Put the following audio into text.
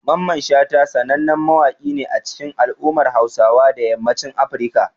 Mamman Shata sanannen mawaƙi ne a cikin al'ummar Hausawa na yammacin Africa.